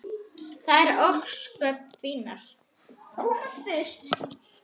Þær voru ósköp fínar.